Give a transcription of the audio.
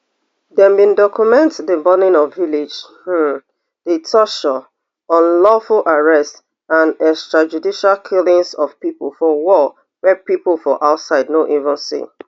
dem bin document di burning of village um di torture unlawful arrests and extrajudicial killings of pipo for war wey pipo for outside no even see